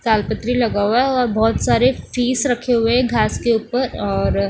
कालपत्री लगा हुआ है और बहोत सारे फीस रखे हुए है घास के ऊपर और--